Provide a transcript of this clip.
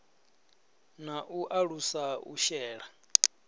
na u alusa u shela